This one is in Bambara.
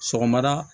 Sɔgɔmada